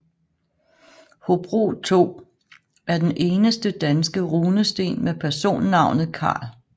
Hobro 2 er den eneste danske runesten med personnavnet Karl